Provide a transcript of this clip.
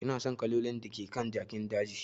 Ina son kalolin da ke kan jakin dajin.